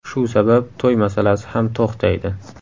Shu sabab to‘y masalasi ham to‘xtaydi.